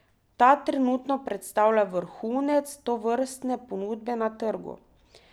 Ta trenutno predstavlja vrhunec tovrstne ponudbe na trgu.